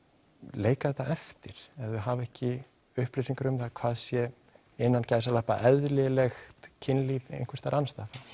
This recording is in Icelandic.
leika þetta eftir ef þau hafa ekki upplýsingar um það hvað sé innan gæsalappa eðlilegt kynlíf einhvers staðar annars staðar